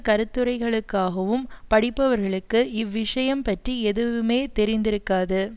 கருத்துரைகளுக்காகவும் படிப்பவர்களுக்கு இவ்விஷயம் பட்டி எதுவுமே தெரிந்திருக்காது